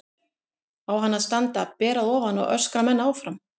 Á hann að standa ber að ofan og öskra menn áfram?